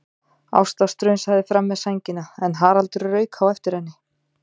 Ásta strunsaði fram með sængina en Haraldur rauk á eftir henni.